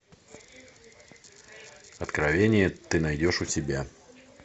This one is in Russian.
откровения ты найдешь у себя